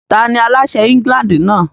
Tani aláṣẹ England náà?